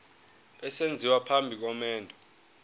esenziwa phambi komendo